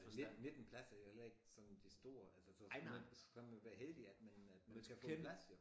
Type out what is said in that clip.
Nitten pladser er heller ikke sådan det store altså så skulle man skal man være heldig at man man kan få plads jo